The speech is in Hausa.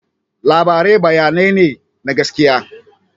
Labarai bayanai ne na gaskiya.